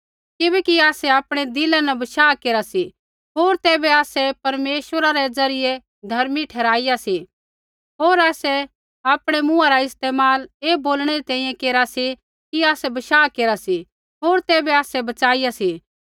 किबैकि आसै आपणै दिला न बशाह केरा सी होर तैबै आसै परमेश्वरा रै ज़रियै धर्मी ठहराईया सी होर आसै आपणै मुँहा रा इस्तेमाल ऐ बोलणै री तैंईंयैं केरा सी कि आसै बशाह केरा सी होर तैबै आसै बच़ाइया सा